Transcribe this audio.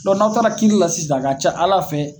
n'aw taara kiiri la sisan, a ka ca Ala fɛ